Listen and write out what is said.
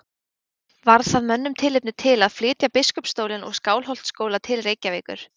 Varð það mönnum tilefni til að flytja biskupsstólinn og Skálholtsskóla til Reykjavíkur.